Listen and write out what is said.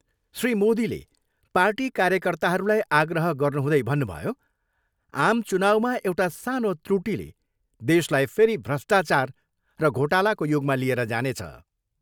श्री मोदीले पार्टी कार्यकर्ताहरूलाई आग्रह गर्नुहुँदै भन्नुभयो, आम चुनाउमा एउटा सानो त्रूटिले दशलाई फेरि भ्रष्टाचार र घोटालाको युगमा लिएर जानेछ।